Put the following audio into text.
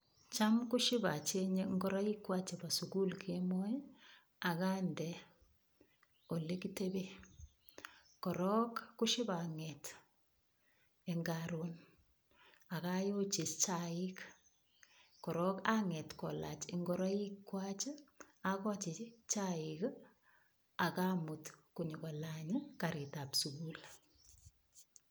Cham kosib acheng'e ngoroik chwak chebo sugul kemoi ak ande ole kiteben. Korong ko sib ang'ete en karon ak ayochi chaik korong ang'et kolach ngoroik kolach, agochi chaik ak amut konyokolany karit ab sugul.